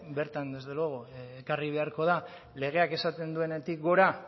bertan desde luego ekarri beharko da legeak esaten duenetik gora